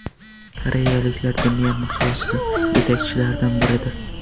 Koreyaliklar dunyo miqyosida yetakchilardan biridir.